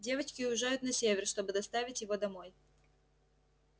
девочки уезжают на север чтобы доставить его домой